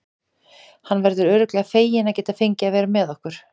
Hann verður örugglega feginn að geta fengið að vera með okkur.